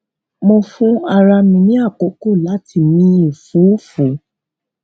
mo fún ara mi ní àkókò láti mí ẹfúùfù